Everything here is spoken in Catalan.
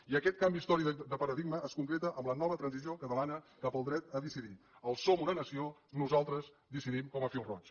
i aquest canvi històric de paradigma es concreta amb la nova transició catalana cap al dret a decidir el som una nació nosaltres decidim com a fil roig